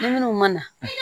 Ni minnu ma na